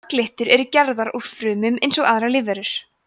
marglyttur eru gerðar úr frumum eins og aðrar lífverur